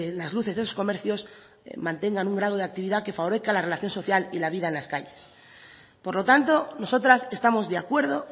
las luces de los comercios mantengan un grado de actividad que favorezca la relación social y la vida en las calles por lo tanto nosotras estamos de acuerdo